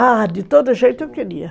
Ah, de todo jeito eu queria.